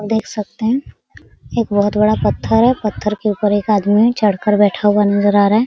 देख सकते है एक बहुत बड़ा पत्थर है पत्थर के ऊपर चढ़ कर एक आदमी बैठा हुआ नजर आ रहा है।